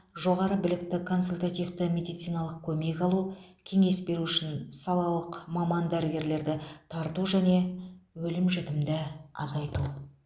жоғары білікті консультативті медициналық көмек алу кеңес беру үшін салалық маман дәрігерлерді тарту және өлім жітімді азайту